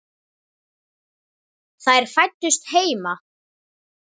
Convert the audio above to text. Þær fæddust heima.